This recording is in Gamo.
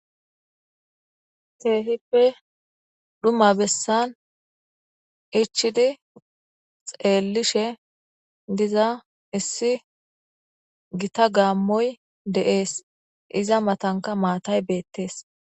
Keehippe dhuma bessan ichchidi xeellishe diza issi githa gaammoy de7ees; iza mathankka maathay beeththees.